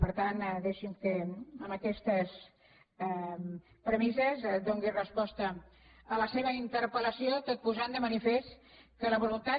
per tant deixi’m que amb aquestes premisses doni resposta a la seva interpel·lació tot i posar de manifest que la voluntat